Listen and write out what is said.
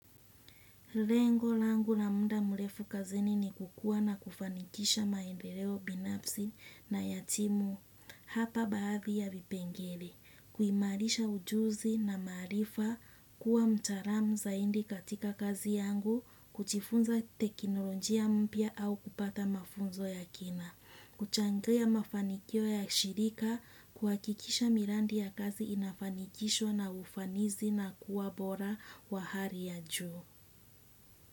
Lengo langu na munda murefu kazini ni kukua na kufanikisha maendeleo binafsi na yatimu hapa baadhi ya vipengele. Kuimarisha ujuzi na marifa kuwa mtaram zaindi katika kazi yangu, kutifunza teknolojia mpia au kupata mafunzo ya kina. Kuchangea mafanikio ya shirika kuakikisha mirandi ya kazi inafanikisho na ufanizi na kuwa bora wa hari ya juu.